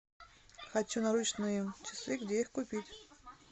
хочу наручные часы где их купить